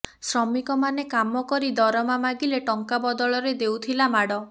ଶ୍ରମିକମାନେ କାମ କରି ଦରମା ମାଗିଲେ ଟଙ୍କା ବଦଳରେ ଦେଉଥିଲା ମାଡ